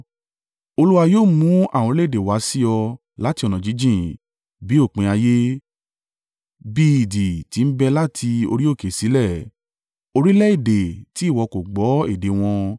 Olúwa yóò mú àwọn orílẹ̀-èdè wá sí ọ láti ọ̀nà jíjìn, bí òpin ayé, bí idì ti ń bẹ́ láti orí òkè sílẹ̀, orílẹ̀-èdè tí ìwọ kò gbọ́ èdè wọn.